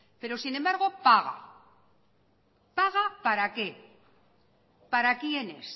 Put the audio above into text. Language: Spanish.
pero sin embargo paga paga para qué para quiénes